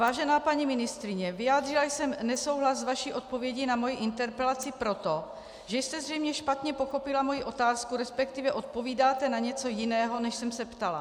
Vážená paní ministryně, vyjádřila jsem nesouhlas s vaší odpovědí na moji interpelaci proto, že jste zřejmě špatně pochopila moji otázku, respektive odpovídáte na něco jiného, než jsem se ptala.